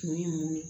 Kun ye mun ye